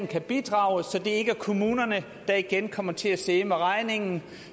kan bidrage så det ikke er kommunerne der igen kommer til at sidde med regningen